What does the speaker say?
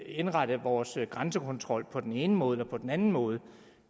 indrette vores grænsekontrol på den ene måde eller på den anden måde